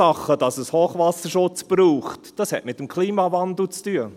Die Ursachen, warum es Hochwasserschutz braucht, haben mit dem Klimawandel zu tun.